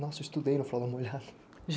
Nossa, eu estudei na Fralda Molhada.